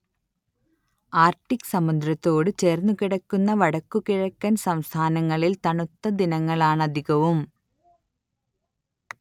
Arctic സമുദ്രത്തോടു ചേർന്നുകിടക്കുന്ന വടക്കു കിഴക്കൻ സംസ്ഥാനങ്ങളിൽ തണുത്ത ദിനങ്ങളാണധികവും